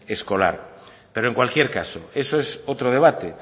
escolar pero en cualquier caso eso es otro debate